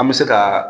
An bɛ se ka